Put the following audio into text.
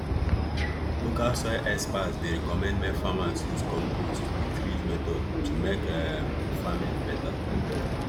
local soil experts dey recommend make farmers use compost with ridge method to make um farming better